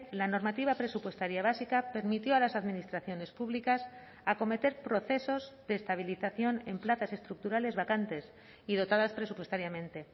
la normativa presupuestaria básica permitió a las administraciones públicas acometer procesos de estabilización en plazas estructurales vacantes y dotadas presupuestariamente